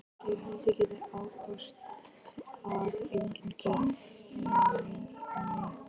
Ég held ég geti ábyrgst að enginn geri þér mein.